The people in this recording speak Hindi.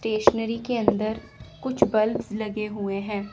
स्टेशनरी के अंदर कुछ बल्ब्स लगे हुए हैं।